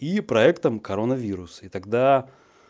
и проектом коронавирус и тогда